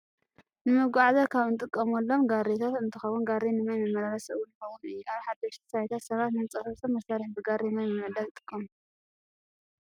ንመጓዓዝያ ካብ እንጥቀመሎም ጋሪታት እንትኸውን ጋሪ ንማይ መማላለሲ እውን ይኸውን እዩ። ኣብ ሓደሽቲ ሳይታት ሰባት ንህንፃታቶም መስርሒ ብጋሪ ማይ ብምዕዳግ ይጥቀሙ።